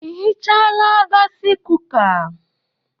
I hichaala gaasi kuka?